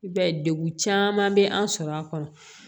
I b'a ye degun caman be an sɔrɔ a kɔnɔ